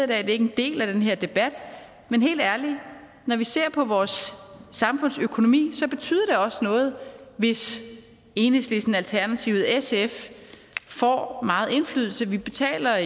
det er ikke en del af den her debat men helt ærligt når vi ser på vores samfundsøkonomi så betyder det også noget hvis enhedslisten alternativet og sf får meget indflydelse vi betaler